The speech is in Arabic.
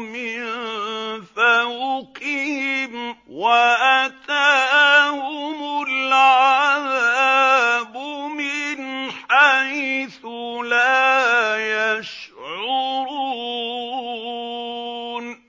مِن فَوْقِهِمْ وَأَتَاهُمُ الْعَذَابُ مِنْ حَيْثُ لَا يَشْعُرُونَ